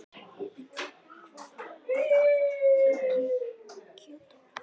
Iðunn, hvað er opið lengi í Kjöthöllinni?